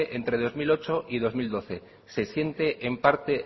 entre dos mil ocho y dos mil doce se siente en parte